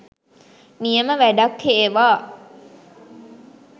නියම වැඩක් හේවා